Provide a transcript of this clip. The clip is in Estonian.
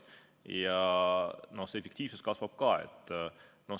Ja efektiivsus kasvab ka.